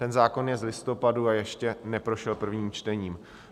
Ten zákon je z listopadu a ještě neprošel prvním čtením.